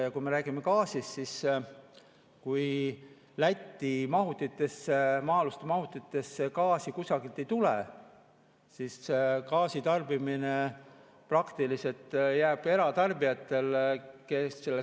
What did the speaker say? Ja kui me räägime gaasist, siis kui Läti maa-alustesse mahutitesse gaasi kusagilt ei tule, siis gaasi tarbimine praktiliselt jääb eratarbijatele.